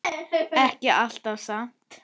Ekki alltaf samt.